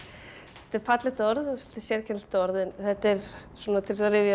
er fallegt orð og svolítið sérkennilegt orð en þetta er svona til að rifja upp